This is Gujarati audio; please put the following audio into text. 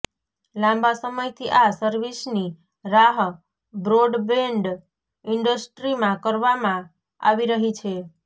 લાંબા સમયથી આ સર્વિસની રાહ બ્રોડબેન્ડ ઇન્ડસ્ટ્રીમાં કરવામાં આવી રહી છે